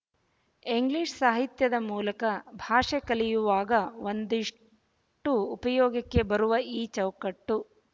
English ಸಾಹಿತ್ಯದ ಮೂಲಕ ಭಾಷೆ ಕಲಿಯುವಾಗ ಒಂದಿಷ್ಟು ಉಪಯೋಗಕ್ಕೆ ಬರುವ ಈ ಚೌಕಟ್ಟು